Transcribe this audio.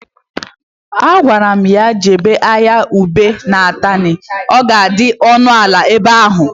A gwara m ya jebe ahịa ube na Atani, ọ ka dị ọnụ ala ebe ahụ